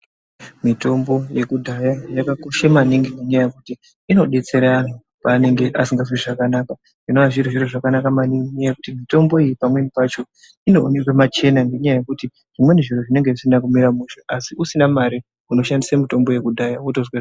Mitombo yekudhaya yakakosha maningi ngenyaya yekuti inodetsera antu pavanenge vasingazwi zvakanaka. Zvinova zviri zviro zvakanaka maningi ngenyaya yekuti mitombo iyi pamweni pacho inoonekwa pachena. Ngenyaya yekuti zvimweni zviro zvinenge zvisina kumira mushe. Asi usina mare unoshandisa mutombo yekudhaya wotozwa.